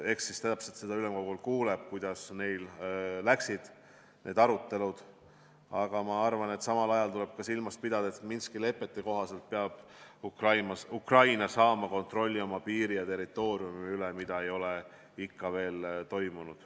Eks siis ülemkogul kuuleb, kuidas neil need arutelud läksid, aga ma arvan, et samal ajal tuleb silmas pidada, et Minski lepete kohaselt peab Ukraina saama kontrolli oma piiri ja territooriumi üle, mida ei ole ikka veel toimunud.